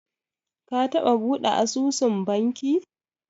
Ka taɓa buɗe asusun banki?